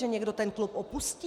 Že někdo ten klub opustí?